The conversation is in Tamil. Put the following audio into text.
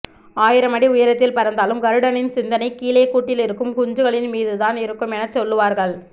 ஆயிரம் அடி உயரத்தில் பறந்தாலும் கருடனின் சிந்தனை கீழே கூட்டில் இருக்கும் குஞ்சுகளின் மீது தான் இருக்கும் என சொல்லுவார்கள்